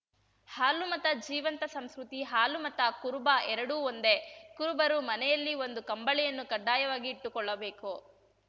ಹಾಲುಮತ ಜೀವಂತ ಸಂಸ್ಕೃತಿ ಹಾಲುಮತ ಕುರುಬ ಎರಡೂ ಒಂದೇ ಕುರುಬರು ಮನೆಯಲ್ಲಿ ಒಂದು ಕಂಬಳಿಯನ್ನು ಕಡ್ಡಾಯವಾಗಿ ಇಟ್ಟುಕೊಳ್ಳಬೇಕು